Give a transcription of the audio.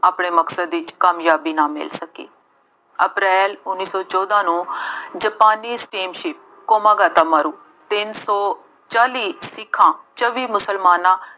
ਆਪਣੇ ਮਕਸਦ ਵਿੱਚ ਕਾਮਯਾਬੀ ਨਾ ਮਿਲੀ। ਅਪ੍ਰੈਲ ਉੱਨੀ ਸੌਂ ਚੋਦਾਂ ਨੂੰ ਜਾਪਾਨੀ steamship ਕਾਮਾਗਾਟਾਮਾਰੂ ਤਿੰਨ ਸੌ ਚਾਲੀ ਸਿੱਖਾਂ, ਚੌਵੀ ਮੁਸਲਮਾਨਾਂ